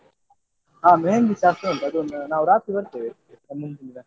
ಹ मेहंदी ಶಾಸ್ತ್ರ ಉಂಟು ಅದನ್ ನಾವು ರಾತ್ರಿ ಬರ್ತೇವೆ .